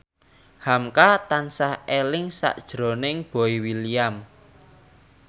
hamka tansah eling sakjroning Boy William